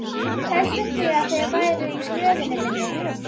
Hélduð þið að þeir væru í hlöðunni minni?